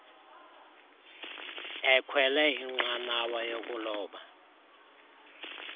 ekhwele inqanawa yokuloba